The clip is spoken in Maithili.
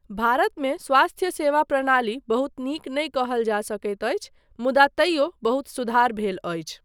भारतमे स्वास्थ्य सेवा प्रणाली बहुत नीक नहि कहल जा सकैत अछि मुदा तैयो बहुत सुधार भेल अछि।